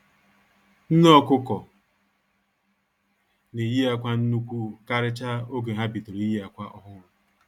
Nne ọkụkọ na-eyi akwa nnukwu karịchaa oge ha bidoro iyi akwa ọhụrụ